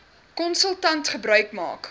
konsultant gebruik maak